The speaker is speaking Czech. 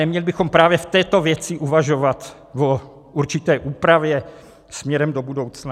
Neměli bychom právě v této věci uvažovat o určité úpravě směrem do budoucna?